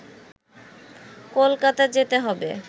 কলকাতা যেতে হবে